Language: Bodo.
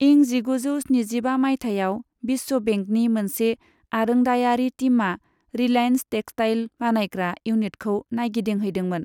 इं जिगुजौ स्निजिबा माइथायाव विश्व बेंकनि मोनसे आरोंदायारि टीमआ 'रिलायेन्स टेक्सटाइल' बानायग्रा इउनिटखौ नायगिदिंहैदोंमोन।